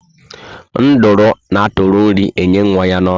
Nduru an atụri nri enye ụmụ ya na ọnụ